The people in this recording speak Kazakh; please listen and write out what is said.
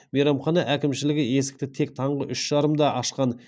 мейрамхана әкімшілігі есікті тек таңғы үш жарымда ашқан